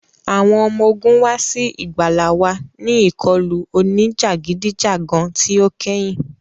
Awọn ọmọ ogun wa si igbala wa ni ikọlu onijagidijagan ti o kẹhin.